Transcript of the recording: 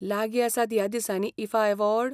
लागीं आसात ह्या दिसांनी ईफा अवॉर्ड?